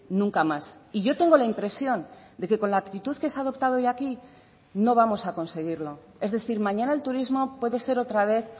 nunca más y yo tengo la impresión de que con la actitud que se ha adoptado hoy aquí no vamos a conseguirlo es decir mañana el turismo puede ser otra vez